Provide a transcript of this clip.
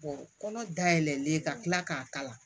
kɔnɔ dayɛlɛlen ka kila k'a kala